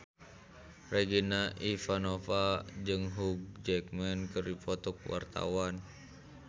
Regina Ivanova jeung Hugh Jackman keur dipoto ku wartawan